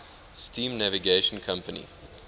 steam navigation company